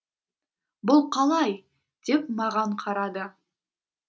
бұл қалай деп маған қарады